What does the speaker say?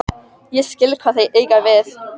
Ég skil hvað þeir eiga við.